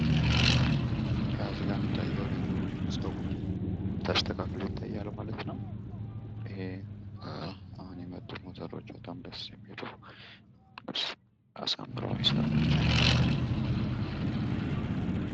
እዚጋ የሚታየው ልጁ ፀጉሩን ተስተካክሎ ይታያሉ ማለት ነው። ይሄ አሁን የመጡ ሞተሮች በጣም ደስ የሚሉ አሳምረው የሚሰሩ ናቸው ማለት ነው።